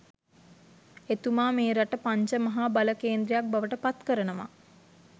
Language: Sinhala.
එතුමා මේ රට පංච මහා බල කේන්ද්‍රයක් බවට පත් කරනවා